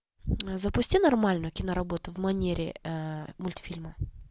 запусти нормальную киноработу в манере мультфильма